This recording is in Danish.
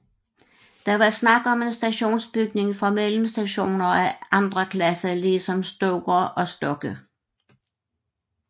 Der var tale om en stationsbygning for mellemstationer af anden klasse ligesom Stoger og Stokke